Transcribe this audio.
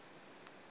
kunomzana